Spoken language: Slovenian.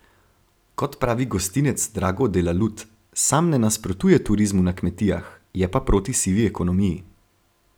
Kot pravi gostinec Drago Delalut, sam ne nasprotuje turizmu na kmetijah, je pa proti sivi ekonomiji.